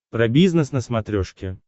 про бизнес на смотрешке